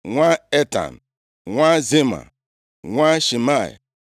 nwa Etan, nwa Zima, nwa Shimei,